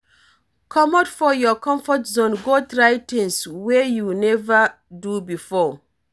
Comot for your comfort zone go try things wey you nova do before